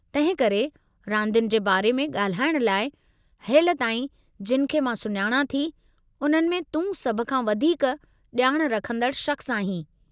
तंहिं करे, रांदियुनि जे बारे में ॻाल्हाइण लाइ, हेलिताईं जिनि खे मां सुञाणां थी उन्हनि में तूं सभ खां वधीक ॼाण रखंदड़ शख़्सु आहीं।